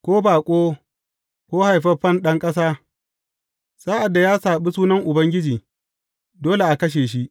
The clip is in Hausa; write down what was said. Ko baƙo, ko haifaffen ɗan ƙasa, sa’ad da ya saɓi Sunan Ubangiji, dole a kashe shi.